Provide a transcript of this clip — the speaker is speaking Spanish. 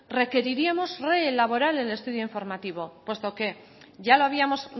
requeriríamos reelaborar el estudio informativo puesto que ya lo habíamos